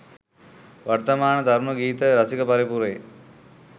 වර්තමාන තරුණ ගීත රසික පරපුරේ